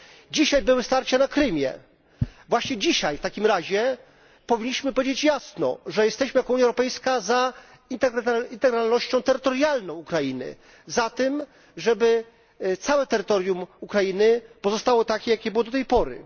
Dzisiaj były starcia na Krymie. Właśnie dzisiaj w takim razie powinniśmy powiedzieć jasno, że jesteśmy jako Unia Europejska za integralnością terytorialną Ukrainy, za tym, żeby całe terytorium Ukrainy pozostało takie jakie było do tej pory.